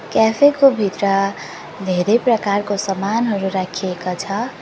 Cafe को भित्र धेरै प्रकारको समानहरू राखिएको छ।